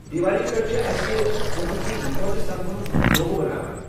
دیوالی پٮ۪ٹھ چھِ أسہِ كُمبہٕ كہِ اِكوٹہٕ سمنُك منصوٗبہٕ بناوان۔